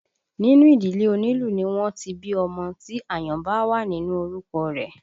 Nínú ìdílé onílù ni wọ́n ti bí ọmọ tí àyàn bá wà nínú orúkọ rẹ̀